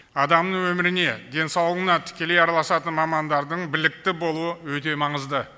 адамның өміріне денсаулығына тікелей араласатын мамандардың білікті болуы өте маңызды